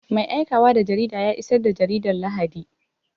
Mai aikawa da jarida ya isar da jaridar Lahadi.